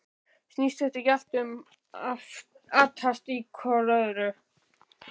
Snýst þetta ekki allt um að atast í hvor öðrum?